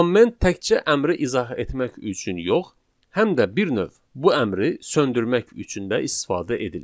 Kommment təkcə əmri izah etmək üçün yox, həm də bir növ bu əmri söndürmək üçün də istifadə edilir.